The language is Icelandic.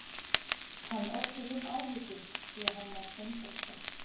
Hann olli þeim áhyggjum því að hann var seinþroska.